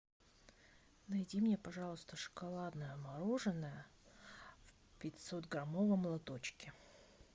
найди мне пожалуйста шоколадное мороженое в пятьсот граммовом лоточке